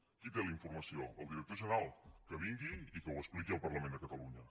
qui té la informació el director general que vingui i que ho expliqui al parlament de catalunya